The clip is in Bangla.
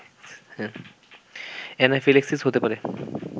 অ্যানাফিল্যাক্সিস হতে পারে